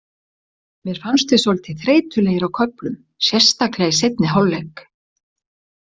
Mér fannst við svolítið þreytulegir á köflum, sérstaklega í seinni hálfleik.